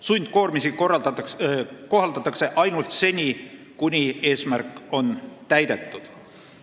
Sundkoormisi kohaldatakse ainult seni, kuni eesmärk on täidetud.